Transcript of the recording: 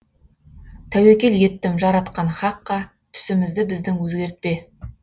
тәуекел еттім жаратқан хаққа түсімізді біздің өзгертпе